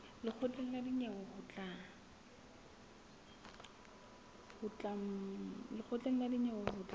lekgotleng la dinyewe ho tla